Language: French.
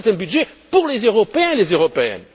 C'est un budget pour les Européens et les Européennes.